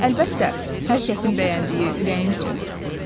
Hım, əlbəttə, hər kəsin bəyəndiyi ürəyincə olur.